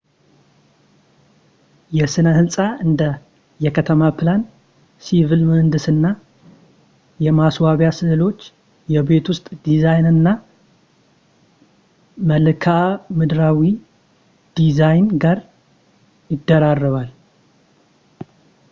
የሥነ ሕንጻ እንደ የከተማ ፕላን፣ ሲቪል ምህንድስና፣ የማስዋቢያ ሥዕሎች ፣ የቤት ውስጥ ዲዛይን እና መልክዓ ምድራዊ ዲዛይን ጋር ይደራረባል